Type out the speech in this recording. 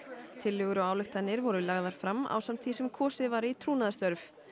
tillögur og ályktanir voru lagðar fram ásamt því sem kosið var í trúnaðarstörf